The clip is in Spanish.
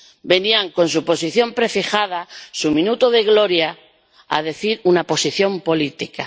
venían con su posición prefijada, su minuto de gloria, a decir una posición política.